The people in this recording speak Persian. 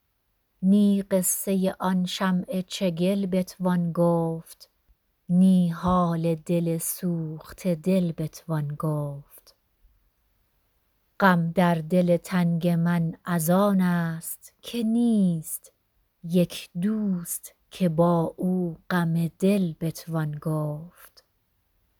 نی قصه آن شمع چگل بتوان گفت نی حال دل سوخته دل بتوان گفت غم در دل تنگ من از آن است که نیست یک دوست که با او غم دل بتوان گفت